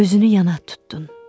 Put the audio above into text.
Üzünü yana tutdun.